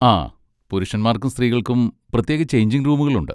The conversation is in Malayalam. ആ, പുരുഷന്മാർക്കും സ്ത്രീകൾക്കും പ്രത്യേക ചെയ്ഞ്ചിങ് റൂമുകളുണ്ട്.